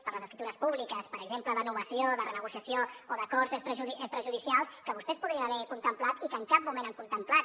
per a les escriptures públiques per exemple de novació de renegociació o d’acords extrajudicials que vostès podrien haver contemplat i que en cap moment han contemplat